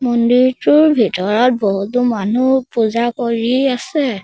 মন্দিৰটোৰ ভিতৰত বহুতো মানুহ পূজা কৰি আছে।